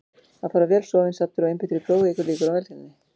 Að fara vel sofinn, saddur og einbeittur í prófið eykur líkur á velgengni.